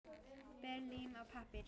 Ber lím á pappír.